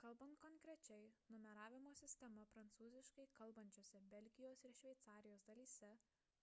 kalbant konkrečiai numeravimo sistema prancūziškai kalbančiose belgijos ir šveicarijos dalyse